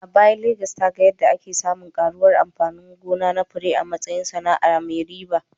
A baya, Legas ta ga yadda ake samun ƙaruwar amfani gona na fure a matsayin sana’ar mai riba